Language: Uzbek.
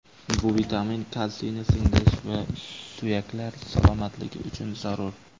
Bu vitamin kalsiyni singdirish va suyaklar salomatligi uchun zarur.